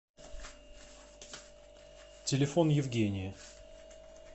телефон евгения